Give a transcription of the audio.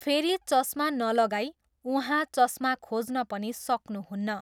फेरि चस्मा नलगाई उहाँ चस्मा खोज्न पनि सक्नुहुन्न।